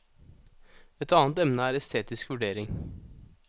Et annet emne er estetisk vurdering.